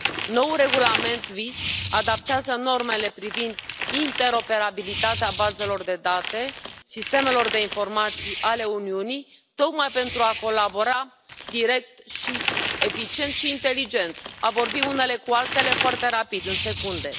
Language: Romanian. Noul regulament VIS adaptează normele privind interoperabilitatea bazelor de date, sistemelor de informații ale Uniunii, tocmai pentru a colabora direct, eficient și inteligent, deci, pentru a vorbi unele cu altele foarte rapid, în secunde.